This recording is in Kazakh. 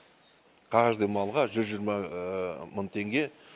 каждый малға жүз жиырма мың теңге